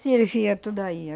Servia tudo aí.